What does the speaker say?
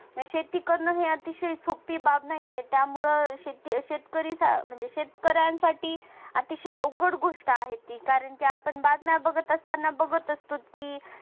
शेती करण हे अतिशय सोपी बाब नाहीये त्यामुळे शेतकरी शेतकऱ्यांसाठी अतिशय अवघड गोष्ट आहे ती कारण की आपण बातम्या बघताना बघत असतो की